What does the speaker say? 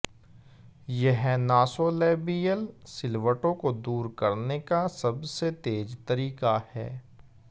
यह नासोलैबियल सिलवटों को दूर करने का सबसे तेज़ तरीका है